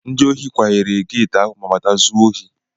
Ndị ohi kwahere geeti ahụ ma bata zuo ohi.